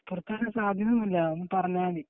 പുറത്താക്കാൻ സാധ്യത ഒന്നുല്ല പറഞ്ഞാൽ മതി